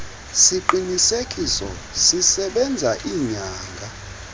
siqinisekiso sisebenza iinyanga